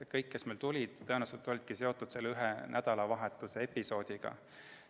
Kõik, kes meile tulid, tõenäoliselt olidki seotud selle ühe nädalavahetuse episoodiga.